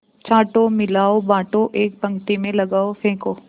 छाँटो मिलाओ बाँटो एक पंक्ति में लगाओ फेंको